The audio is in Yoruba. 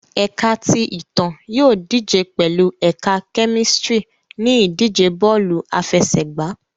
Ẹka ti Itan yóò dije pẹlu Ẹka Kemistri ni idije bọọlu afẹsẹgba